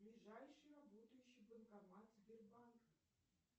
ближайший работающий банкомат сбербанка